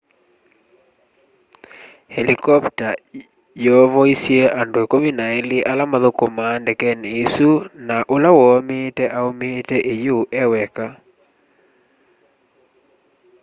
helikopta yoovoisy'e andũ ikũmi na ilĩ ala mathũkũmaa ndekeni isũ na ũla woomiite aũmiite iyũũ eweka